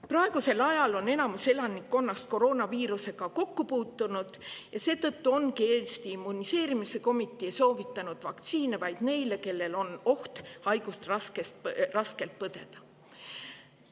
Praegusel ajal on enamik elanikkonnast koroonaviirusega kokku puutunud ja seetõttu ongi Eesti immuniseerimiskomitee soovitanud vaktsiine vaid neile, kellel on oht haigust raskelt põdeda.